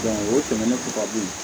o tɛmɛnen kɔ ka bɔ yen